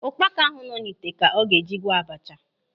Ụkpaka ahụ nọ n'ite ka ọ ga-eji gwọọ abacha.